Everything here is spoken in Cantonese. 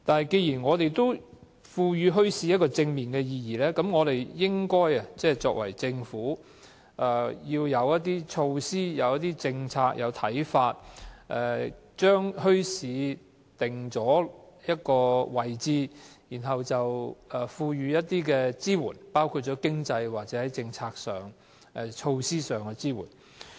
既然我們賦予墟市正面的意義，政府實應設定一些措施、政策和看法，將墟市定位，並提供支援，包括在經濟、政策及措施上的支援。